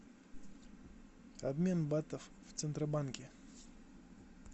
обмен батов в центробанке